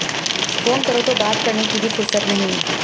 phone करो तो बात करने की भी फुरसत नहीं